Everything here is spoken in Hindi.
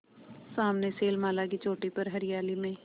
सामने शैलमाला की चोटी पर हरियाली में